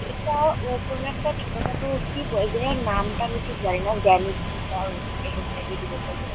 এটাও ও কোনো একটা ছোট-খাটো কি বলা যায় নামটা আমি ঠিক জানি না জ্যামিতি বা ওই এসব টাইপ -এর কিছু একটা বলে।